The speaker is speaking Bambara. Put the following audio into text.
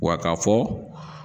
Wa ka fɔ